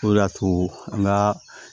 O de y'a to an ka